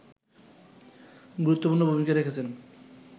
গুরুত্বপূর্ণ ভূমিকা রেখেছেন